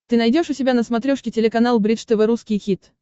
ты найдешь у себя на смотрешке телеканал бридж тв русский хит